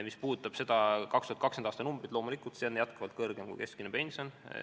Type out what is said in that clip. Mis puudutab 2020. aasta vaesuspiiri, siis loomulikult, see on jätkuvalt kõrgem kui keskmine pension.